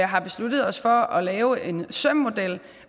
har besluttet os for at lave en søm model